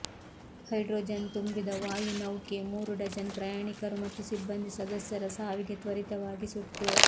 hydrogen ತುಂಬಿದ ವಾಯುನೌಕೆ ಮೂರು ಡಜನ್ ಪ್ರಯಾಣಿಕರು ಮತ್ತು ಸಿಬ್ಬಂದಿ ಸದಸ್ಯರ ಸಾವಿಗೆ ತ್ವರಿತವಾಗಿ ಸುಟ್ಟು